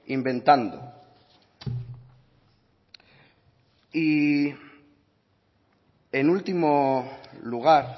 inventando y en último lugar